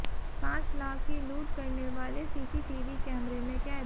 पांच लाख की लूट करने वाले सीसीटीवी कैमरे में कैद